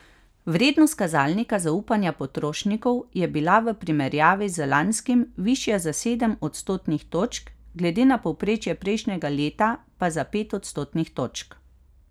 Vrednost kazalnika zaupanja potrošnikov je bila v primerjavi z lanskim višja za sedem odstotnih točk, glede na povprečje prejšnjega leta pa za pet odstotnih točk.